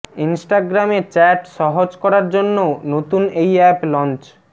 ইনস্টাগ্রামে চ্যাট সহজ করার জন্য নতুন এই অ্যাপ লঞ্চ